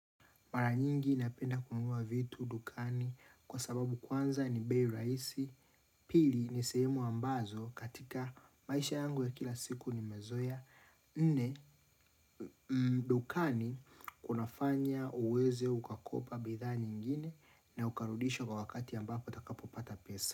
Mara nyingi napenda kununua vitu, dukani, kwa sababu kwanza ni bei rahisi, pili ni sehemu ambazo katika maisha yangu ya kila siku nimezoea, nne dukani kunafanya uweze ukakopa bidhaa nyingine na ukarudisha kwa wakati ambapo utakapopata pesa.